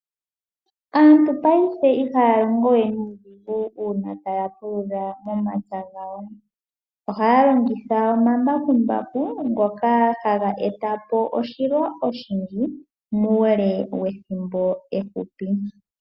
Aantu payife ihaya longo we nuudhigu uuna taya pulula momatsa, ohaya longitha omambakumbaku ngoka haga eta po oshilwa oshindji muule wethimbo efupi.